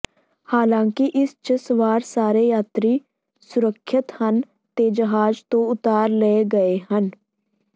ਹਾਲਾਂਕਿ ਇਸ ਚ ਸਵਾਰ ਸਾਰੇ ਯਾਤਰੀ ਸੁਰੱਖਿਅਤ ਹਨ ਤੇ ਜਹਾਜ਼ ਤੋਂ ਉਤਾਰ ਲਏ ਗਏ ਹਨ